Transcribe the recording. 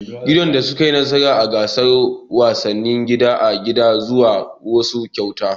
Gidan da su ka yi nasara a gasar wasannin gida da gida zasu samu kyauta